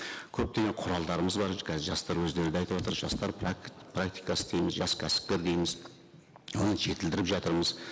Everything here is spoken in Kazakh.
көптеген құралдарымыз бар қазір жастар өздері де айтыватыр жастар практикасы дейміз жас кәсіпкер дейміз оны жетілдіріп жатырмыз